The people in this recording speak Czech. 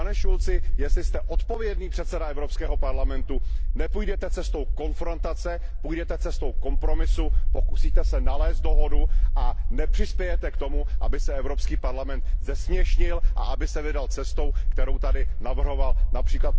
Pane Schulzi, jestli jste odpovědný předseda Evropského parlamentu, nepůjdete cestou konfrontace, půjdete cestou kompromisu, pokusíte se nalézt dohodu a nepřispějete k tomu, aby se Evropský parlament zesměšnil a aby se vydal cestou, kterou tady navrhoval např.